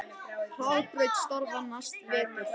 Hraðbraut starfar næsta vetur